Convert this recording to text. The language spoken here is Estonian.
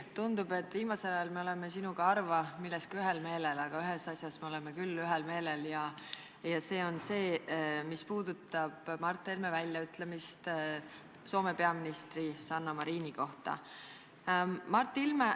Tundub, et viimasel ajal oleme me sinuga harva milleski ühel meelel, aga ühes asjas oleme küll ühel meelel, see puudutab Mart Helme väljaütlemist Soome peaministri Sanna Marini kohta.